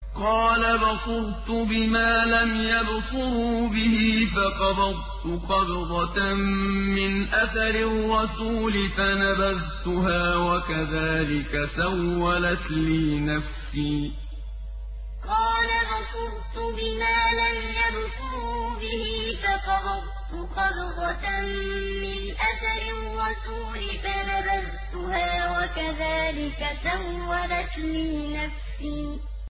قَالَ بَصُرْتُ بِمَا لَمْ يَبْصُرُوا بِهِ فَقَبَضْتُ قَبْضَةً مِّنْ أَثَرِ الرَّسُولِ فَنَبَذْتُهَا وَكَذَٰلِكَ سَوَّلَتْ لِي نَفْسِي قَالَ بَصُرْتُ بِمَا لَمْ يَبْصُرُوا بِهِ فَقَبَضْتُ قَبْضَةً مِّنْ أَثَرِ الرَّسُولِ فَنَبَذْتُهَا وَكَذَٰلِكَ سَوَّلَتْ لِي نَفْسِي